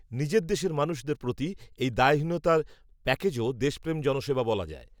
নিজের দেশের মানুষদের প্রতি এই দায়হীনতার প্যাকেজও, দেশপ্রেম জনসেবা বলা যায়